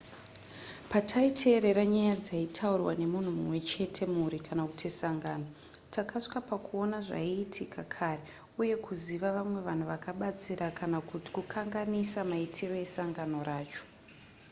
pataiteerera nyaya dzaitaurwa nemunhu mumwe chete mhuri kana kuti sangano takasvika pakuona zvaiitika kare uye kuziva vamwe vanhu vakabatsira kana kuti kukanganisa maitiro esangano racho